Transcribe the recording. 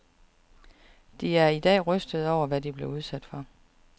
De er i dag rystede over, hvad de blev udsat for.